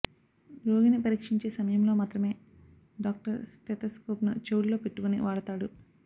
రోగిని పరీక్షించే సమయంలో మాత్రమే డాక్టర్ స్టెతస్కోప్ను చెవుల్లో పెట్టుకుని వాడతాడు